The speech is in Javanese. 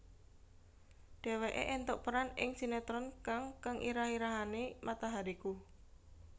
Dhéwéké éntuk peran ing sinetron kang kang irah irahane Matahariku